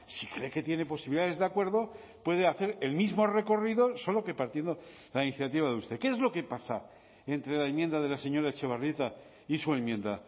si cree que tiene posibilidades de acuerdo puede hacer el mismo recorrido solo que partiendo la iniciativa de usted qué es lo que pasa entre la enmienda de la señora etxebarrieta y su enmienda